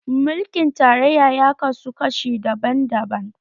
Mulkin tarayya ya kaso kashi daban-daban